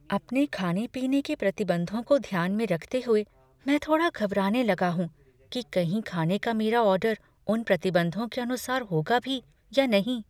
अपने खाने पीने के प्रतिबंधों को ध्यान में रखते हुए, मैं थोड़ा घबराने लगा हूँ कि कहीं खाने का मेरा ऑर्डर उन प्रतिबंधों के अनुसार होगा भी या नहीं।